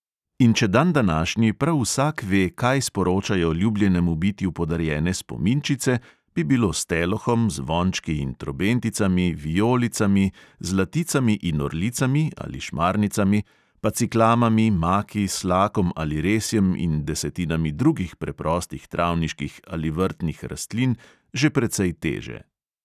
In če dandanašnji prav vsak ve, kaj sporočajo ljubljenemu bitju podarjene spominčice, bi bilo s telohom, zvončki in trobenticami, vijolicami, zlaticami in orlicami ali šmarnicami, pa ciklamami, maki, slakom ali resjem in desetinami drugih preprostih travniških ali vrtnih rastlin že precej teže.